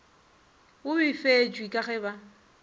o befetšwe ka ge ba